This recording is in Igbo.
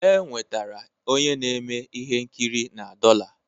E nwetara onye na-eme ihe nkiri na dollar